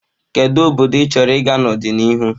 Kedu obodo ịchọrọ ịga n'ọdịnihu?